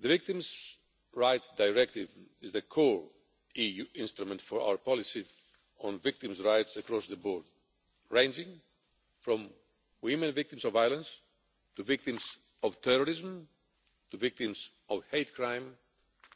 The Victims' Rights Directive is the core EU instrument for our policy on victims' rights across the board, ranging from women who are victims of violence, to victims of terrorism, to victims of hate crime,